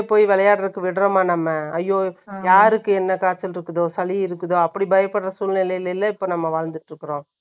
விளையாடுறதுக்கு விடறோமா நம்ம? ஐயோ, யாருக்கு என்ன காய்ச்சல் இருக்குதோ, சளி இருக்குதோ, அப்படி பயப்படுற சூழ்நிலையில, இப்ப நம்ம வாழ்ந்துட்டு இருக்கிறோம்?